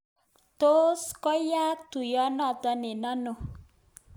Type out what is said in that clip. Tos koyaak tuiyenoto eng ano?